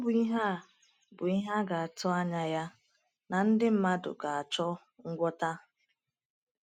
Ọ bụ ihe a bụ ihe a ga - atụ anya ya na ndị mmadụ ga - achọ ngwọta.